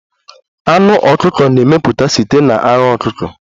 Anụ ọkụkọ na-emeputa site n'ara ọkụkọ